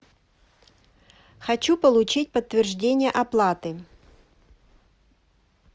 хочу получить подтверждение оплаты